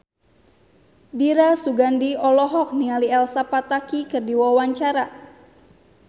Dira Sugandi olohok ningali Elsa Pataky keur diwawancara